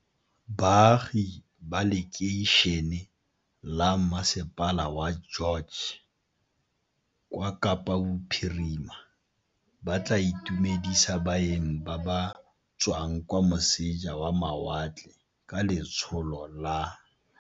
Baagi ba lekeišene la masepala wa George kwa Kapa Bophirima ba tla itumedisa baeng ba ba tswang kwa moseja wa mawatle ka letsholo la.